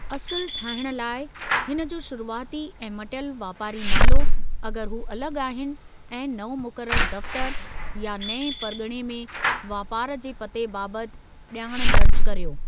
असुलु ठाहिणु लाइ, हिनजो शुरुआती ऐं मटियलु वापारी नालो, अगर हू अलगि॒ आहिनि, ऐं नओं मुक़रर दफ़्तरु, या नऐं परगि॒णे में वापार जे पते बाबति जा॒णु दर्ज करियो।